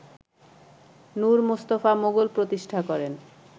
নুর মুস্তাফা মুঘল প্রতিষ্ঠা করেন